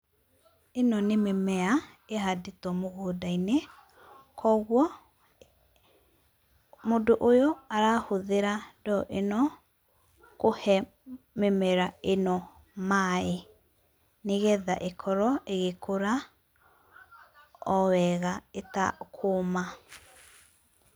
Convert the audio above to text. Ĩno nĩ mĩmea ĩhandĩtwo mũgũnda-inĩ. Koguo, mũndũ ũyũ arahũthĩra ndoo ĩno kũhe mĩmera ĩno maaĩ nĩgetha ĩkorwo ĩgĩkũra o wega ĩtakũũma.